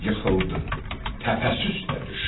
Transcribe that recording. Yıxıldı, təpəsi üstə düşdü.